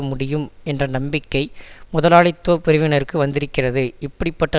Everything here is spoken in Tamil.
முடியும் என்ற நம்பிக்கை முதலாளித்துவ பிரிவினருக்கு வந்திருக்கிறது இப்படி பட்ட